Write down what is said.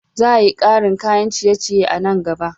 Za a yi karin kayan ciye-ciye a nan gaba.